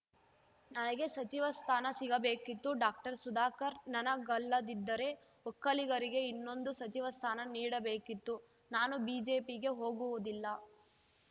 ನನಗೆ ಸಚಿವ ಸ್ಥಾನ ಸಿಗಬೇಕಿತ್ತು ಡಾಕ್ಟರ್ ಸುಧಾಕರ್‌ ನನಗಲ್ಲದಿದ್ದರೆ ಒಕ್ಕಲಿಗರಿಗೆ ಇನ್ನೊಂದು ಸಚಿವ ಸ್ಥಾನ ನೀಡಬೇಕಿತ್ತು ನಾನು ಬಿಜೆಪಿಗೆ ಹೋಗುವುದಿಲ್ಲ